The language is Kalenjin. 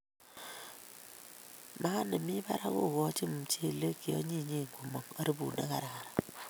Maat nemii barak kokochin mchelek cheonyinyen komong harufut ne kararan